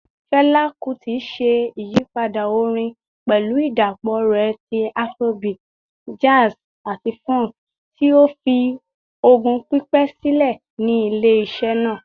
Fẹla Kuti ṣe iyipada orin pẹlu idapọ rẹ ti Afrobeat, jazz, ati funk, ti ​​o fi ogún pipẹ silẹ ni ile-iṣẹ naa.